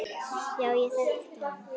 Já, ég þekkti hann.